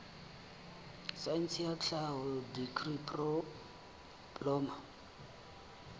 saense ya tlhaho dikri diploma